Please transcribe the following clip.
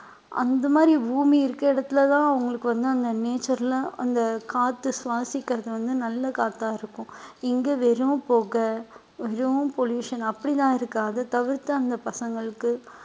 அந்த மாதிரி பூமி இருக்கிற இடத்துலதான் அவங்களுக்கு வந்து, அந்த nature ல அந்த காற்றை சுவாசிக்கிறது வந்து நல்ல காத்தா இருக்கும் இங்க வெறும் புகை வெறும் pollution அப்படியெல்லாம் இருக்கு அதை தவிர்த்து அந்த பசங்களுக்கு